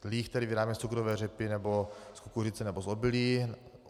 Líh tedy vyrábíme z cukrové řepy nebo z kukuřice nebo z obilí.